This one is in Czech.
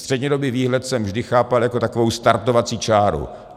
Střednědobý výhled jsem vždy chápal jako takovou startovací čáru.